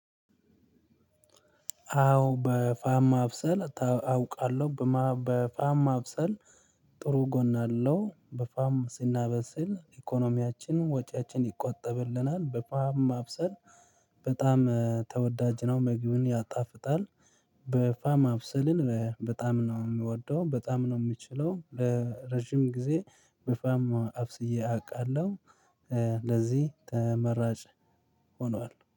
አዎ በፋም አብሰል አውቃለሁ በፋም ማብሰል ጥሩ ጎን አለው በፋም ስናበስል ኢኮኖሚያችን ወጪያችን ይቆጠብልናል። በፋም ማብሰል በጣም ተወዳጅ ነው ምግብም ያጣፍጣል። በፋም ማብሰልን በጣም ነው የምወደው በጣም ነው የምችለው። ረጅም ጊዜ በፋም አብስዬ አውቃለሁ። ለዚህ ተመራጭ ሆኗል